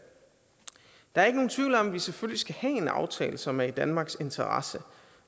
der er ikke nogen tvivl om at vi selvfølgelig skal have en aftale som er i danmarks interesse